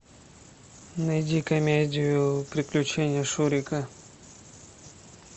найди комедию приключения шурика